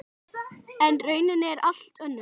En raunin er allt önnur.